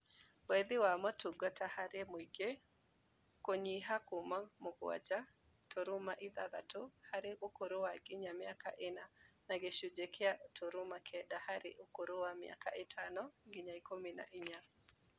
Wethi wa motungata harĩ mũingĩ kũnyiha kuuma mũgwanja turuma ithathatũ harĩ ũkũrũ wa nginya mĩaka ĩna na gĩcunjĩ kĩa igĩrĩ turuma kenda hari ũkũrũ wa mĩaka ĩtano nginya ikũmi na inya